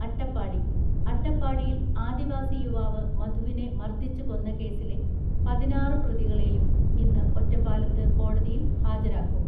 അട്ടപ്പാടി, അട്ടപ്പാടിയിൽ ആദിവാസി യുവാവ് മധുവിനെ മർദ്ദിച്ച് കൊന്ന കേസിലെ പതിനാറ് പ്രതികളെയും ഇന്ന് ഒറ്റപ്പാലത്ത് കോടതിയിൽ ഹാജരാക്കും.